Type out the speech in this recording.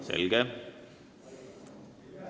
Selge.